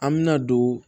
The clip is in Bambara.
An bɛna don